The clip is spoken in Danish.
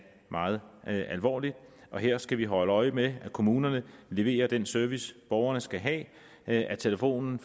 meget alvorligt her skal vi holde øje med at kommunerne leverer den service borgerne skal have at telefonen